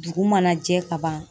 Dugu mana jɛ ka ban